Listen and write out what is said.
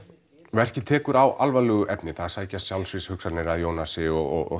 verkið tekur á alvarlegu efni það sækja sjálfsvígshugsanir að Jónasi og